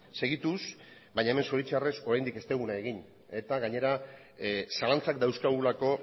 segituz baina hemen zoritxarrez oraindik ez duguna egin eta gainera zalantzak dauzkagulako